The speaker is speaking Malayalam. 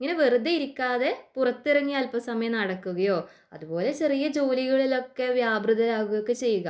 വെറുതെ ഇരിക്കാതെ പുറത്തിറങ്ങി അൽപ സമയം നടക്കുകയോ അതുപോലെ ചെറിയ ജോലികളിലൊക്കെ വ്യാപൃതർ ആവുക ഒക്കെ ചെയ്യുക